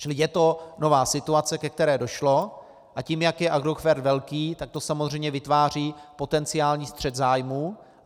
Čili je to nová situace, ke které došlo, a tím, jak je Agrofert velký, tak to samozřejmě vytváří potenciální střet zájmů.